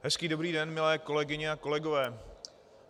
Hezký dobrý den, milé kolegyně a kolegové.